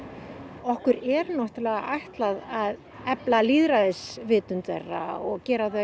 okkur er ætlað að efla lýðræðisvitund þeirra og gera þau